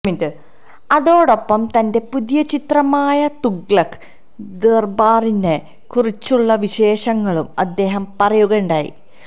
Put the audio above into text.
അതോടൊപ്പം തന്റെ പുതിയ ചിത്രമായ തുഗ്ലക് ദര്ബാറിനെ കുറിച്ചുള്ള വിശേഷങ്ങളും അദ്ദേഹം പറയുകയുണ്ടായി